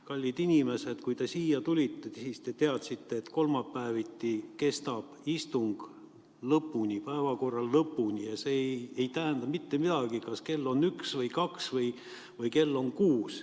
Kallid inimesed, kui te siia tulite, te teadsite, et kolmapäeviti kestab istung päevakorra lõpuni ja see ei tähenda mitte midagi, kas kell on üks või kaks või kell on kuus.